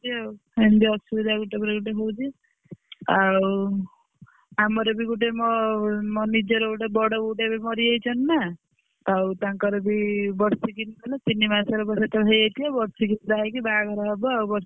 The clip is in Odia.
ଆଉ ଏମିତି ଅସୁବିଧା ଗୋଟେ ପରେ ଗୋଟେ ହଉଛି। ଆଉ ଆମର ବି ଗୋଟେ ମୋ ମୋ ନିଜର ଗୋଟେ ବଡବୋଉଟେ ଏବେ ମରିଯାଇଛନ୍ତି ନା ତ ଆଉ ତାଙ୍କର ବି ବର୍ଷେ ତିନି ମାସ ହେଇଯାଇଥିବ ହେଇକି ବାହାଘର ହବ ଆଉ।